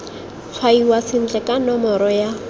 tshwaiwa sentle ka nomoro ya